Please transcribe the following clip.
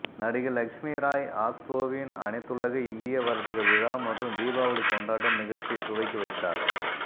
நடிகை லஷ்மி ராய் ஆஸ்ட்ரோவின் அனைத்துலக இந்திய வர்த்தக விழா மற்றும் தீபாவளி கொண்டாட்டம் நிகழ்ச்சியைத் துவக்கி வைத்தார்